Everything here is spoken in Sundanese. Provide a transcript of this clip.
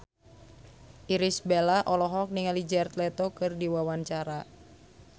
Irish Bella olohok ningali Jared Leto keur diwawancara